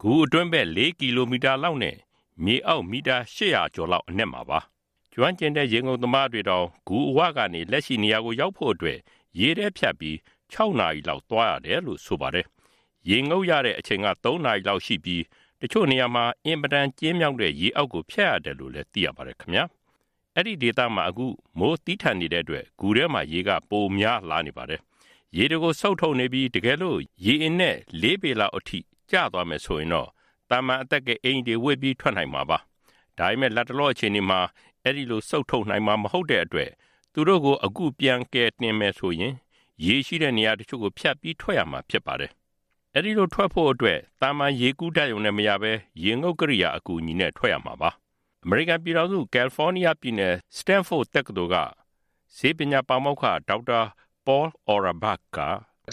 ဂူအတွင်းဘက် ၄ ကီလိုမီတာလောက်နဲ့ မြေအောက် မီတာ ၈ဝဝ ကျော်လောက်အနက်မှာပါ။ ကျွမ်းကျင်တဲ့ ရေငုပ်သမားတွေတောင် ဂူအဝကနေ လက်ရှိနေရာကိုရောက်ဖို့အတွက် ရေထဲဖြတ်ပြီး ၆ နာရီလောက် သွားရတယ်လို့ ဆိုပါတယ်။ ရေငုပ်ရတဲ့အချိန်က ၃ နာရီလောက်ရှိပြီး တချို့နေရာမှာ အင်မတန်ကျဉ်းမြောင်းတဲ့ ရေအောက်ကိုဖြတ်ရတယ်လို့လည်း သိရပါတယ်။ အဲဒီ ဒေသမှာ အခုမိုးသည်းထန်နေတဲ့အတွက် ဂူထဲမှာရေက ပိုများလာနေပါတယ်။ ရေတွေကို စုပ်ထုတ်နေပြီး တကယ်လို့ ရေအနက် ၄ ပေလောက်အထိ ကျသွားမယ်ဆိုရင်တော့ သာမန်အသက်ကယ်အင်္ကျီတွေဝတ်ပြီး ထွက်နိုင်မှာပါ။ ဒါပေမယ့် လတ်တလောအခြေအနေမှာ အဲဒီလို စုပ်ထုတ်နိုင်မှာ မဟုတ်တဲ့အတွက် သူတို့ကို အခု ပြန်ထုတ်မယ်ဆိုရင် ရေရှိတဲ့နေရာတချို့ကို ဖြတ်ပြီး ထွက်ရမှာဖြစ်ပါတယ်။ အဲဒီလို ထွက်ဖို့အတွက် သာမန်ရေကူးတတ်ရုံနဲ့မရဘဲ ရေငုပ်ကိရိယာ အကူအညီနဲ့ထွက်ရမှာပါ။ အမေရိကန်ပြည်ထောင်စု ကယ်လ်ဖေါနီးယားပြည်နယ် Standford University စတင်းဖို့တက္ကသိုလ်က ဆေးပညာပါမောက္ခ ဒေါက်တာ Paul Aurebach ပေါလ် အော်ရာဘါ့ခ် က “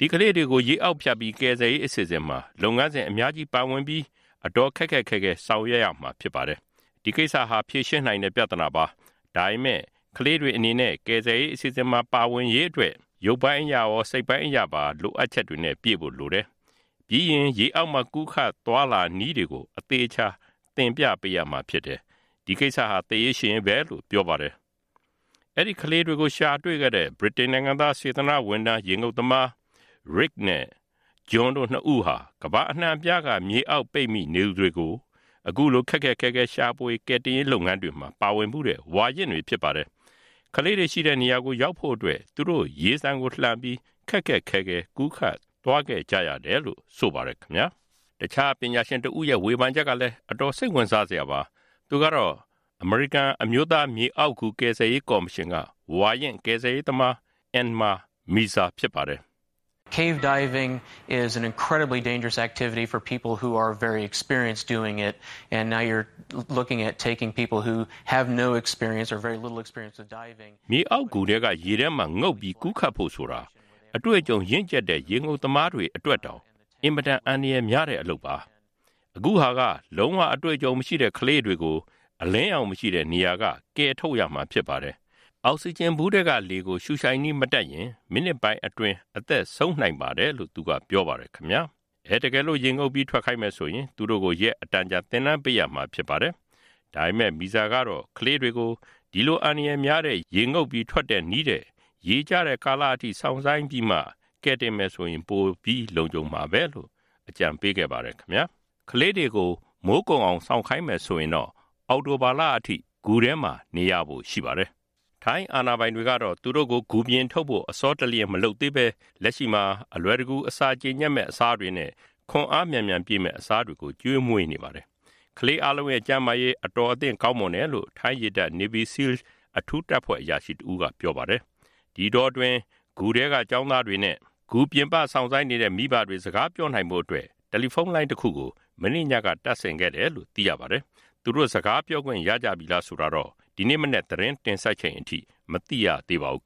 ဒီကလေးတွေကို ရေအောက်ဖြတ်ပြီး ကယ်ဆယ်ရေးအစီအစဉ်မှာ လုပ်ငန်းစဉ်အများကြီးပါဝင်ပြီး အတော်ခက်ခက်ခဲခဲ ဆောင်ရွက်ရမှာဖြစ်ပါတယ်။ ဒီကိစ္စဟာ ဖြေရှင်းနိုင်တဲ့ပြဿနာပါ။ ဒါပေမဲ့ ကလေးတွေအနေနဲ့ ကယ်ဆယ်ရေးအစီအစဉ်မှာ ပါဝင်နိုင်ရေးအတွက် ရုပ်ပိုင်းအရရော စိတ်ပိုင်းအရပါ လိုအပ်ချက်တွေနဲ့ ပြည့်ဖို့လိုတယ်။ ပြီးရင် ရေအောက်မှာ ကူးခတ်သွားလာနည်းတွေကို အသေအချာ သင်ပေးရမှာဖြစ်တယ်။ အဲဒီ ကိစ္စဟာ သေရေးရှင်ရေးပဲ” လို့ပြောပါတယ်။ အဲဒီ ကလေးတွေကို ရှာတွေ့ခဲ့တဲ့ ဗြိတိန်နိုင်ငံသား စေတနာ့ဝန်ထမ်း ရေငုပ်သမား (Richard Stanton) Rick ရစ် နဲ့ (John Volanthen) John ဂျွန်တို့၂ ဦးဟာ ကမ္ဘာအနှံ့အပြားက မြေအောက်ပိတ်မိနေသူတွေကို အခုလို ခက်ခက်ခဲခဲ ရှာဖွေကယ်တင်ရေးလုပ်ငန်းတွေမှာ ပါဝင်ဖူးတဲ့ ဝါရင့်တွေဖြစ်ပါတယ်။ ကလေးတွေရှိတဲ့နေရာကို ရောက်ဖို့အတွက် သူတို့ ရေဆန်ကိုလှန်ပြီး ခက်ခက်ခဲခဲ ကူးခတ်သွားခဲ့ကြရတယ်လို့ ဆိုပါတယ်။ တခြား ပညာရှင်တဦးရဲ့ ဝေဖန်ချက်ကလည်း အတော်စိတ်ဝင်စားစရာပါ။ သူကတော့ US National Cave Rescue Commission အမေရိကန် အမျိုးသား မြေအောက်ဂူ ကယ်ဆယ်ရေးကော်မရှင်က ဝါရင့် ကယ်ဆယ်ရေးသမား Anmar Mirza အန်မာ မီဇာဖြစ်ပါတယ်။ “မြေအောက်ဂူထဲက ရေထဲမှာငုပ်ပြီးကူးခတ်ဖု့ိုဆိုတာ အတွေ့အကြုံ ရင့်ကျက်တဲ့ ရေငုပ်သမားတွေအတွက်တောင် အင်မတန် အန္တရာယ်များတဲ့အလုပ်ပါ။ အခုဟာက လုံးဝအတွေ့အကြုံမရှိတဲ့ကလေးတွေကို အလင်းရောင်မရှိတဲ့နေရာက ကယ်ထုတ်ရမှာဖြစ်ပါတယ်။ အောက်စီဂျင်ဗူးထဲက လေကို ရူရှိုက်နည်းမတတ်ရင် မိနစ်ပိုင်းအတွင်း အသက်ဆုံးနိုင်ပါတယ်” လို့ သူကပြောပါတယ်။ တကယ်လို့ ရေငုပ်ပြီးထွက်ခိုင်းမယ်ဆိုရင် သူတို့ကို ရက်အတန်ကြာ သင်တန်းပေးဖို့ လိုအပ်ပါလိမ့်မယ်။ ဒါပေမဲ့ မစ္စတာ မီဇာကတော့ ကလေးတွေကို အဲဒီလို အန္ဒရာယ်များတဲ့ ရေငုပ်ထုတ်တဲ့နည်းထက် ရေကျတဲ့ကာလအထိ စောင့်ဆိုင်းထားပြီးမှ ထွက်ခိုင်းတာက ပိုပြီး လုံခြုံမှာပဲလို့ အကြံပေးပါတယ်။ ကလေးတွေကို ဂူထဲမှာ မိုးကုန်တဲ့အထိထားမယ်ဆိုရင်တော့ အောက်တိုဘာလအထိ စောင့်ရမှာပါ။ ထိုင်း အာဏာပိုင်တွေကတော့ သူတို့ကို ဂူပြင်ထုတ်ဖို့ အဆောတလျှင်မလုပ်သေးဘဲ လက်ရှိမှာ အလွယ်တကူ အစာကြေညက်ပြီး ခွန်အား မြန်မြန်ပြည့်မယ့် အစားတွေကို ကျွေးမွေးနေပါတယ်။ ကလေးအားလုံးရဲ့ ကျန်းမာရေး ကောင်းမွန်နေတယ်လို့ ထိုင်းရေတပ် Navy SEALS အထူးတပ်ဖွဲ့ အရာရှိတဦးက ပြောပါတယ်။ ဒီအတောအတွင်း ဂူအတွင်းက ကျောင်းသားတွေနဲ့ ဂူပြင်ပ စောင့်ဆိုင်းနေတဲ့ မိဘတွေ စကားပြောနိုင်ဖို့အတွက် တယ်လီဖုန်းလိုင်းတခုကို မနေ့ညကတပ်ဆင်ခဲ့တယ်လို့လည်း သိရပါတယ်။ သူတို့ စကားပြောခွင့် ရကြပြီလားဆိုတာတော့ ဒီနေ့မနက် သတင်းတင်ဆက်ချိန်အထိ မသိရသေးပါဘူး။